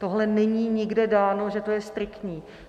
Tohle není nikde dáno, že to je striktní.